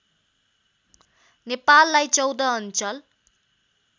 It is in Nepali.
नेपाललाई १४ अञ्चल